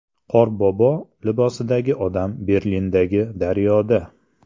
Qorbobo libosidagi odam Berlindagi daryoda.